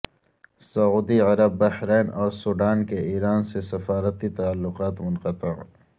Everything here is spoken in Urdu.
سعودی عرب بحرین اور سوڈان کے ایران سے سفارتی تعلقات منقطع